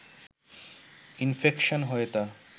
infection হয়ে তা